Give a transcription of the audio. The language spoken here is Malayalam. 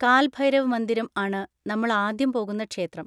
കാൽ ഭൈരവ് മന്ദിരം ആണ് നമ്മൾ ആദ്യം പോകുന്ന ക്ഷേത്രം.